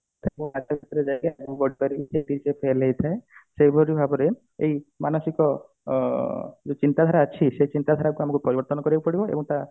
ସେଇ ପରି ଭାବରେ ଏଇ ମାନସିକ ଅ ଯୋଉ ଚିନ୍ତା ଧାରା ଅଛି ସେଇ ଚିନ୍ତାଧାରା କୁ ଆମକୁ ପରିବର୍ତନ କରିବାକୁ ପଡିବ ଏବଂ ତା